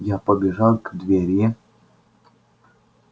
я побежал к двери